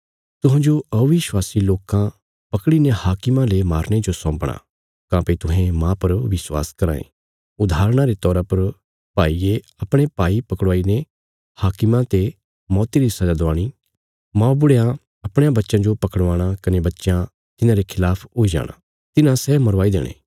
तुहांजो अविश्वासी लोकां पकड़ीने हाकिमां ले मारने जो सौंपणा काँह्भई तुहें माह पर विश्वास कराँ ये उदाहरणा रे तौरा पर भाईये अपणे भाई पकड़वाई ने हाकिमां ते मौती री सजा दवाणी मौबुढ़यां अपणयां बच्चयां जो पकड़वाणा कने बच्चयां तिन्हांरे खलाफ हुई जाणा तिन्हां सै मरवाई देणे